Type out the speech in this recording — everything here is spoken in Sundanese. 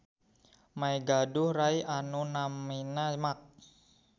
May gaduh rai anu namina Max.